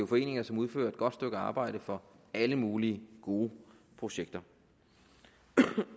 foreninger som udfører et godt stykke arbejde for alle mulige gode projekter